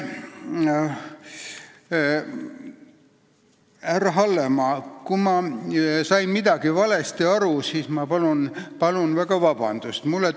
Härra Hallemaa, kui ma sain midagi valesti aru, siis ma palun väga vabandust!